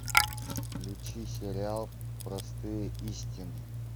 включи сериал простые истины